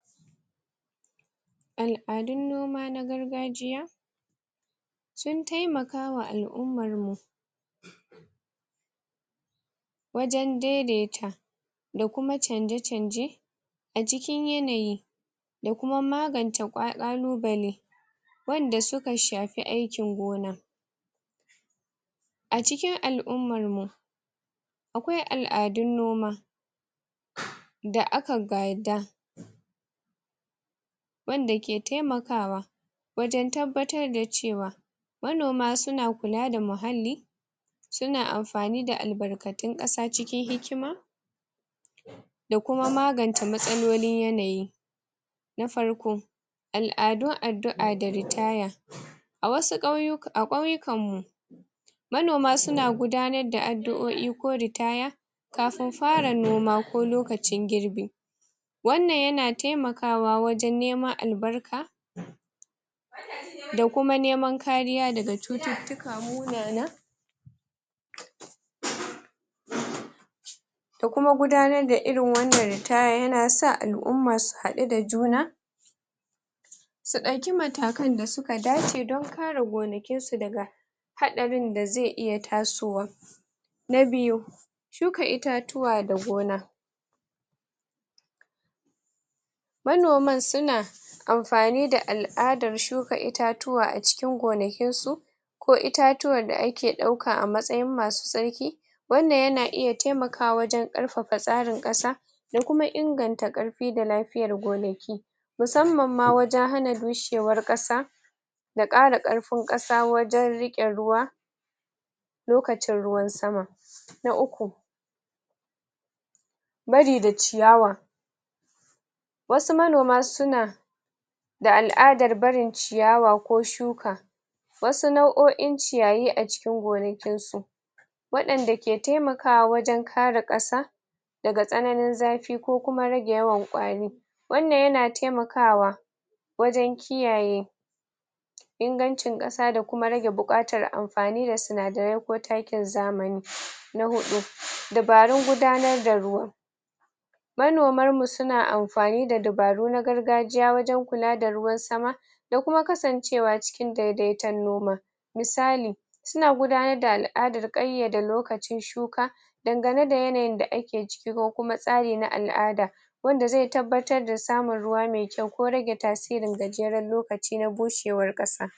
al'adun noma na gargajiya sun taimakawa al'umarmu wajan daidaita da kuma canje-canje a cikin yanayi da kuma magance ƙa ƙalubale wanda suka shafi aikin gona a cikin al'ummar mu akwai al'adun noma da aka gada wanda ke taimakawa wajan tabbatar da cewa manoma suna kula da muhalli suna amfani da albarkatun ƙasa cikin hikima da kuma magance matsalolin yanayi na farko al'adun addu'a da ritaya a wasu ƙauyu a ƙauyukan mu manoma suna gudanar da addu'o'i ko ritaya kafin fara noma ko lokacin girɓi wanan yana taimakawa wajan neman albarka da kuma neman kariya daga cututtuka munana da kuma gudanar da irin wanan ritaya yana sa al'umma su haɗu da juna su ɗauki matakan da suka dace don kare gonakin su daga haɗarin da ze iya tasowa na biyu shuka itatuwa da gona manoman suna amfani da al'adar shuka itatuwa a cikin gonakin su ko itatuwan da ake ɗauka a matsayin masu tsarki wannan yana iya taimakawa wajan ƙarfafa tsarin ƙasa da kuma inganta ƙarfi da lafiyar gonaki musanman ma wajan hana bushewar ƙasa da ƙara ƙarfin ƙasa wajan riƙe ruwa lokacin ruwan sama na uku bari da ciyawan wasu manoma suna da al'adar barin ciyawa ko shuka wasu nau'o'in ciyayi a cikin gonakin su waɗanda ke temakawa wajan kare ƙasa daga tsananin zafi ko kuma rage yawan ƙwari wannan yana taimakawa wajan kiyaye ingancin ƙasa da kuma rage buƙatar amfani sinadarain ko takin zamani na huɗu, dabarun gudanar da ruwa manomar mu suna amfani da dubaru na gargajiya wajan kula da ruwan sama da kuma kasancewa cikin daidaiton noma misali suna gudanar da al'adar ƙayyade lokacin shuka dangane da yanayin da ake ciki ko kuma tsari na al'ada wanda ze tabbatar da samun ruwa mai kyau ko rage tasirin gajeran lokaci na bushewar ƙasa